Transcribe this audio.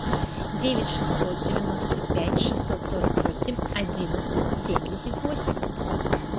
девять шестьсот девяносто пять шестьсот сорок восемь одиннадцать семьдесят восемь